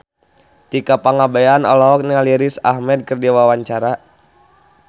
Tika Pangabean olohok ningali Riz Ahmed keur diwawancara